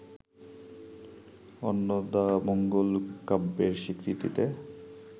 অন্নদামঙ্গল কাব্যের স্বীকৃতিতে